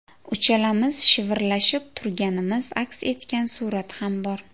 Uchalamiz shivirlashib turganimiz aks etgan surat ham bor.